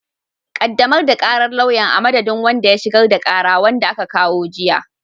Ƙaddamar da ƙarar lauyan, a madadin wanda ya shigar da ƙara, wanda aka kawo jiya.